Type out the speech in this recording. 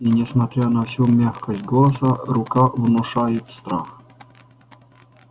и несмотря на всю мягкость голоса рука внушает страх